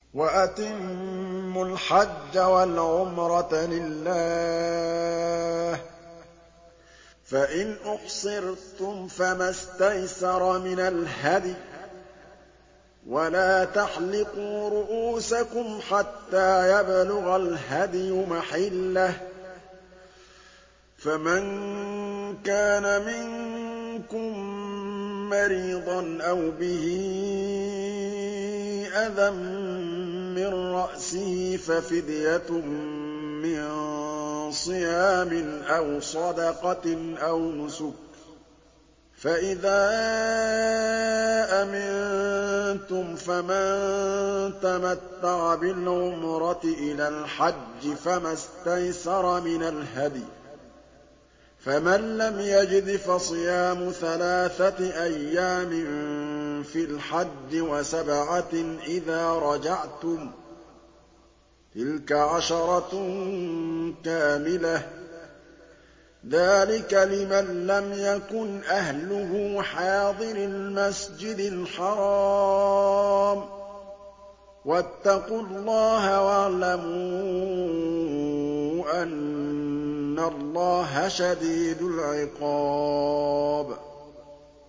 وَأَتِمُّوا الْحَجَّ وَالْعُمْرَةَ لِلَّهِ ۚ فَإِنْ أُحْصِرْتُمْ فَمَا اسْتَيْسَرَ مِنَ الْهَدْيِ ۖ وَلَا تَحْلِقُوا رُءُوسَكُمْ حَتَّىٰ يَبْلُغَ الْهَدْيُ مَحِلَّهُ ۚ فَمَن كَانَ مِنكُم مَّرِيضًا أَوْ بِهِ أَذًى مِّن رَّأْسِهِ فَفِدْيَةٌ مِّن صِيَامٍ أَوْ صَدَقَةٍ أَوْ نُسُكٍ ۚ فَإِذَا أَمِنتُمْ فَمَن تَمَتَّعَ بِالْعُمْرَةِ إِلَى الْحَجِّ فَمَا اسْتَيْسَرَ مِنَ الْهَدْيِ ۚ فَمَن لَّمْ يَجِدْ فَصِيَامُ ثَلَاثَةِ أَيَّامٍ فِي الْحَجِّ وَسَبْعَةٍ إِذَا رَجَعْتُمْ ۗ تِلْكَ عَشَرَةٌ كَامِلَةٌ ۗ ذَٰلِكَ لِمَن لَّمْ يَكُنْ أَهْلُهُ حَاضِرِي الْمَسْجِدِ الْحَرَامِ ۚ وَاتَّقُوا اللَّهَ وَاعْلَمُوا أَنَّ اللَّهَ شَدِيدُ الْعِقَابِ